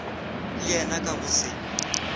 le yena ka go se